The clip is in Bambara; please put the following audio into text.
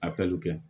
A pɛriw kɛ